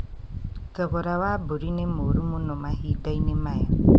Thogora wa mbũri nĩ mũũru mũno mahinda-inĩ maya